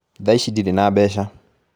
Thaa ici ndirĩ na mbeca